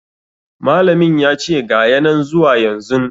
Malamin yace ga ya nan zuwa yanzun